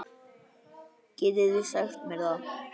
Getið þið sagt mér það?